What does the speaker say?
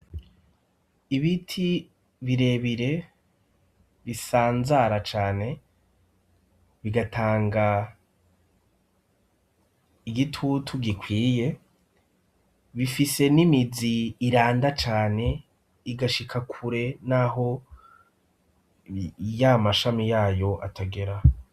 Ibiti birebire bisanzara cane bigatanga igitutu gikwiye, bifise n'imizi iranda cane igashika kure n'aho ya mashami yayo atagera.